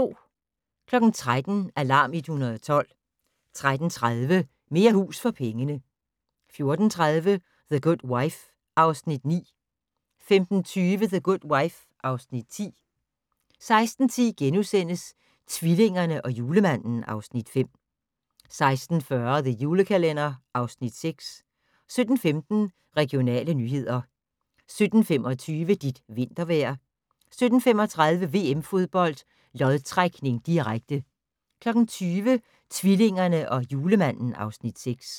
13:00: Alarm 112 13:30: Mere hus for pengene 14:30: The Good Wife (Afs. 9) 15:20: The Good Wife (Afs. 10) 16:10: Tvillingerne og Julemanden (Afs. 5)* 16:40: The Julekalender (Afs. 6) 17:15: Regionale nyheder 17:25: Dit vintervejr 17:35: VM-Fodbold: Lodtrækning, direkte 20:00: Tvillingerne og Julemanden (Afs. 6)